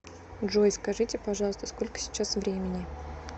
джой скажите пожалуйста сколько сейчас времени